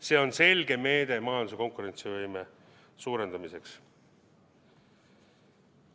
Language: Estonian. See on selge meede majanduse konkurentsivõime suurendamiseks.